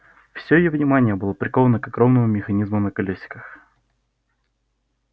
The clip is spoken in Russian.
все её внимание было приковано к огромному механизму на колёсиках